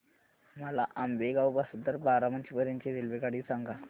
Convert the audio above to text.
मला आंबेगाव पासून तर बारामती पर्यंत ची रेल्वेगाडी सांगा